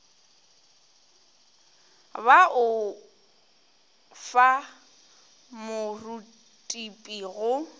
ba o fa morutipi go